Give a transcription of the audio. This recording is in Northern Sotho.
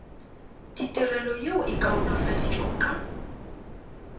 ditirelo yeo e kaonafaditšwego ka